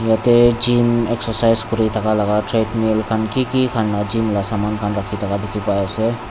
yate gym excercise kuri thaka treadmill khan kiki khan la gym la saman khan rakhi thaka dikhipaiase.